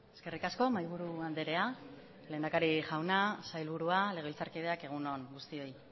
eskerrik asko mahaiburu andrea lehendakari jauna sailburua legebiltzarkideak egun on guztioi